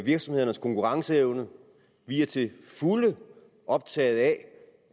virksomhedernes konkurrenceevne vi er til fulde optaget af